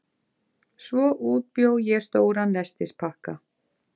Svo útbjó ég stóran nestispakka.